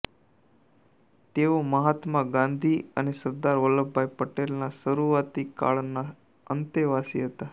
તેઓ મહાત્મા ગાંધી અને સરદાર વલ્લભભાઈ પટેલના શરૂઆતી કાળના અંતેવાસી હતાં